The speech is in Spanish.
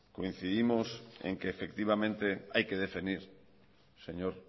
en que efectivamente hay que definir señor